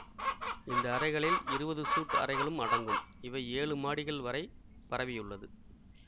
இந்த அறைகளில் இருவது சூட் அறைகளும் அடங்கும் இவை ஏழு மாடிகள் வரை பரவியுள்ளது